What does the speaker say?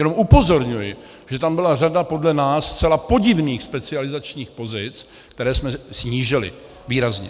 Jenom upozorňuji, že tam byla řada podle nás zcela podivných specializačních pozic, které jsme snížili výrazně.